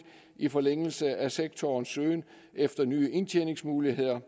i forlængelse af sektorens søgen efter nye indtjeningsmuligheder